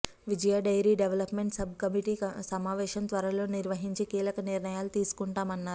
విజయ dairy development sub committee సమావేశం త్వరలో నిర్వహించి కీలకనిర్ణయాలు తీసుకుంటామన్నారు